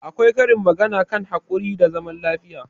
Akwai karin magana a kan haƙuri da zaman lafiya.